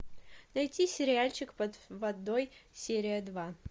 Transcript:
найти сериальчик под водой серия два